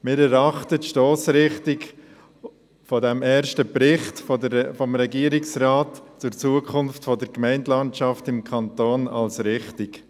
Wir erachten die Stossrichtung des ersten Berichts des Regierungsrates über die Zukunft der Gemeindelandschaft im Kanton als richtig.